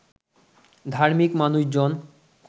ধার্মিক মানুষজন